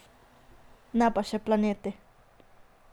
Ne pa še planeti.